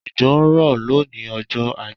Òjò ń rọ̀ lónìí ọjọ́ ajé